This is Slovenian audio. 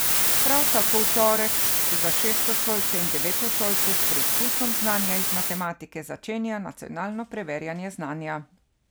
Prav tako v torek se za šestošolce in devetošolce s preizkusom znanja iz matematike začenja nacionalno preverjanje znanja.